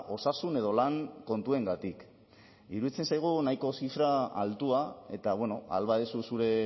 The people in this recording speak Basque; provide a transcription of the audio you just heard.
osasun edo lan kontuengatik iruditzen zaigu nahiko zifra altua eta ahal baduzu zure